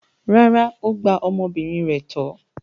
Rárá, ó gba ọmọbìnrin rẹ̀ tọ́.